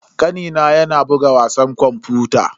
Kanina yana buga wasan kwamfuta.